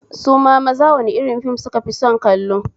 Su ma maza wani rin fim sukafi son kallo?